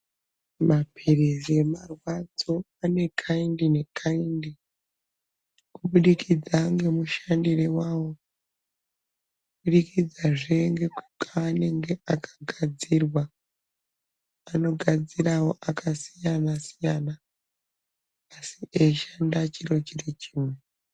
Mapirisi emarwadzo, ane kayindi ne kayindi, kubudikidza ngemushandiro wawo, kubudikidza zve nekwaanenge akagadzirwa anogadzira akasiyana siyana asi eshanda chiro chiri chimwe.